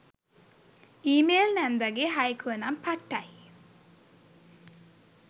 ඊ mail නැන්දගේ හයිකුව නම් පට්ටයි.